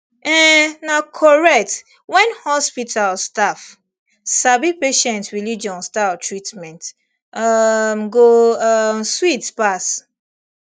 um na correct when hospital staff sabi patient religion style treatment um go um sweet pass